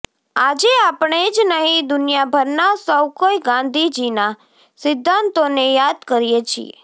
આજે આપણે જ નહિં દુનિયાભરના સૌ કોઇ ગાંધીજીના સિધ્ધાંતોને યાદ કરીએ છીએ